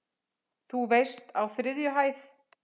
Þú veist- á þriðju hæð.